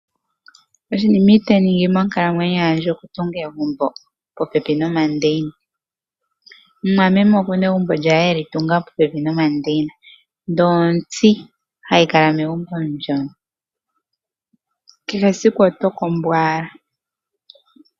Oshinima itaandi ningi monkalamwenyo yandje okutunga egumbo popepi nomandeina. Mumwameme oku na egumbo lye e li tunga popepi nomandeina , ndele ontsi hayi kala megumbo ndyo, kehe esiku oto kombo owala.